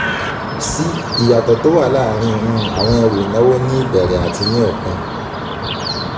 c ìyàtọ̀ tó wà láàárín um àwọn ẹrù ìnáwó ní ìbẹ̀rẹ̀ àti ní òpin.